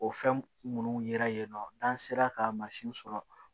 O fɛn minnu yera yen nɔ n'an sera ka mansin sɔrɔ